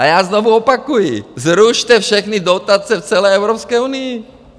A já znovu opakuji - zrušte všechny dotace v celé Evropské unii!